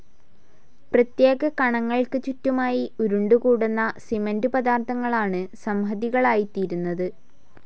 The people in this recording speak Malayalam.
പ്രത്യേക കണങ്ങൾക്കു ചുറ്റുമായി ഉരുണ്ടുകൂടുന്ന സിമന്റു പദാർഥങ്ങളാണ് സംഹതികളായിത്തീരുന്നത്.